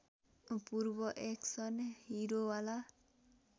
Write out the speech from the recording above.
पूर्व एक्सन हिरोवाला